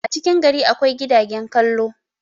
a cikin gari akwai gidagen kallon